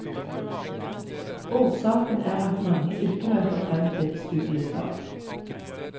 Årsaken er at mange ikke møter frem til studiestart.